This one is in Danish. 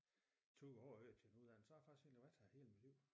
2 år væk til en uddannelse så har jeg faktisk egentlig været her hele mit liv